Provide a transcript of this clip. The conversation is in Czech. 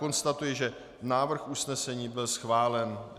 Konstatuji, že návrh usnesení byl schválen.